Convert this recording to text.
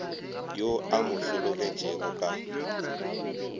yo a mo hlologetšego ka